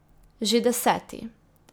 Že deseti.